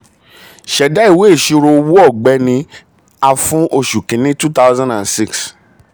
ṣẹda ìwé ìṣirò owó ọ̀gbẹ́ni a fún oṣù kínní cs] two thousand and six.